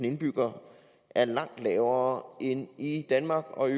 indbyggere er langt lavere end i danmark og i